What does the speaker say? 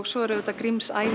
svo eru auðvitað